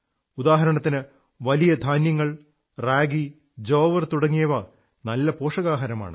ഉദാഹരണത്തിന് വലിയ ധാന്യങ്ങൾ റാഗി ജോവർ തുടങ്ങിയവ വളരെ പോഷകാഹാരമാണ്